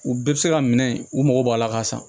U bɛɛ bɛ se ka minɛ u mago b'a la ka san